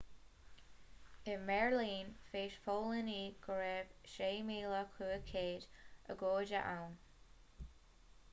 i mbeirlín mheas póilíní go raibh 6,500 agóide ann